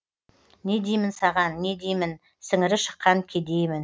не деймін саған не деймін сіңірі шыққан кедеймін